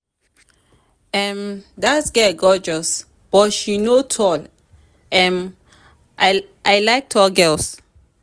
Dat girl gorgeous but she no tall and I like tall girls